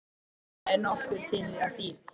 Það er nokkuð til í því.